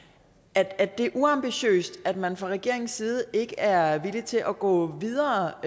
at det er uambitiøst at man fra regeringens side ikke er villig til at gå videre